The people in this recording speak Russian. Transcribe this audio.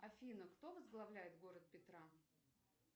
афина кто возглавляет город петра